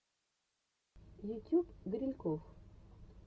ютюб грильков